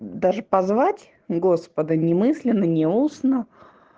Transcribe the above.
даже позвать господа не мысленно не устно